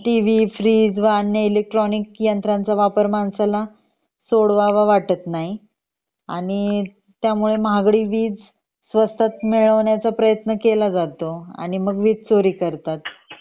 त्यात TV fridge व अन्य इलेक्ट्रोनिक यंत्राचा वापर माणसाला सोडवावा वाटत नाही आणि त्यामुळे महागडी वीज स्वस्तात मिळवण्याचा प्रयत्न केला जातो आणि मग वीज चोरी करतात